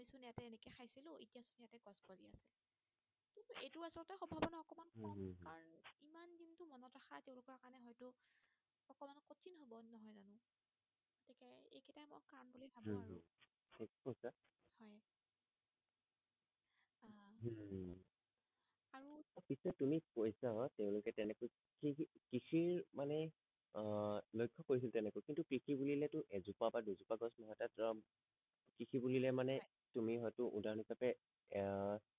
পিছে তুমি কৈছা হয় তেওঁলোকে তেনেকৈ কি কি কৃষিৰ মানে আহ লক্ষ্য কৰিছিল তেনেকৈ কিন্তু কৃষি বোলিলে টো এজোপা বা দুজোপা গছ মই তাত কৃষি বুলিলে হয় মানে তুমি হয়টো উদাহৰণ হিচাপে আহ